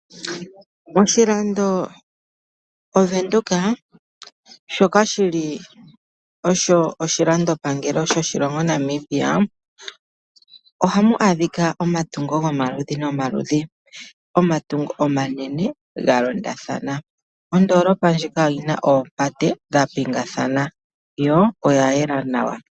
Oshilando Venduka shoka shili osho oshilando pangelo shoshilongo Namibia. Ohamu adhika omatungo gomaludhi nomaludhi. Omatungo omanene ga londathana. Ondoolopa ndjika oyina oopate dha pingathana yo oya yela nawa.